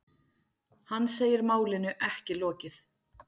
Hann segir málinu ekki lokið.